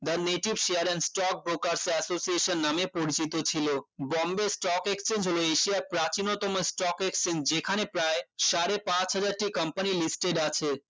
the native share and stock প্রকাশ্যে association নামে পরিচিত ছিল Bombay stock exchange হলো এশিয়ার প্রাচীনতম stock exchange যেখানে সাড়ে পাঁচ হাজার টি conpany listed আছে